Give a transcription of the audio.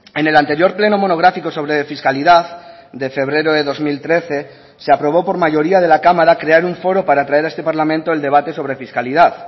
en el anterior pleno monográfico sobre fiscalidad de febrero de dos mil trece se aprobó por mayoría de la cámara crear un foro para traer a este parlamento el debate sobre fiscalidad